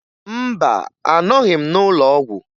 Mba, anọghị m n'ụlọọgwụ